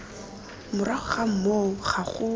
morago ga moo ga go